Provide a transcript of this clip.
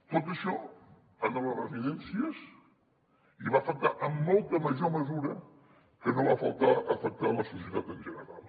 tot això en les residències hi va afectar amb molta major mesura que no va afectar la societat en general